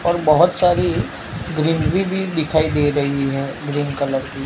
और बहोत सारी ग्रीनरी भी दिखाई दे रही है ग्रीन कलर की।